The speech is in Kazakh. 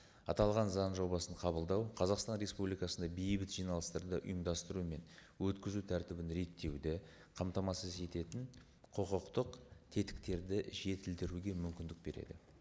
аталған заң жобасын қабылдау қазақстан республикасында бейбіт жиналыстарды ұйымдастыру мен өткізу тәртібін реттеуді қамтамасыз ететін құқықтық тетіктерді жетілдіруге мүмкіндік береді